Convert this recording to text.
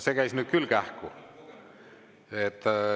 See käis nüüd küll kähku.